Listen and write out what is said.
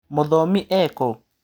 Mũthomi ekũ.